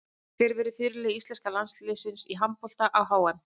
Hver verður fyrirliði íslenska landsliðsins í handbolta á HM?